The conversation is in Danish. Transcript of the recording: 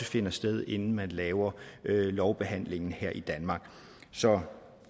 finder sted inden man laver lovbehandlingen her i danmark så